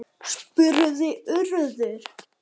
spurði Urður.